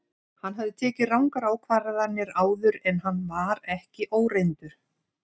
Hann hafði tekið rangar ákvarðanir áður en hann var ekki óreyndur.